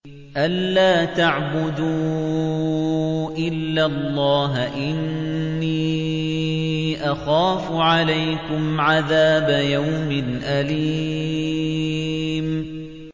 أَن لَّا تَعْبُدُوا إِلَّا اللَّهَ ۖ إِنِّي أَخَافُ عَلَيْكُمْ عَذَابَ يَوْمٍ أَلِيمٍ